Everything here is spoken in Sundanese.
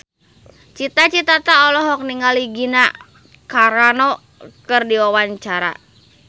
Cita Citata olohok ningali Gina Carano keur diwawancara